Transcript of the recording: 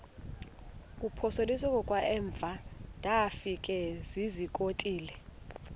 kuphosiliso kwangaemva ndafikezizikotile